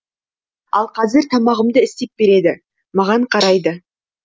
ал қазір тамағымды істеп береді маған қарайды